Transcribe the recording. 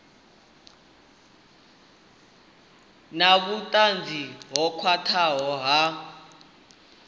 na vhutanzi ho khwathaho ha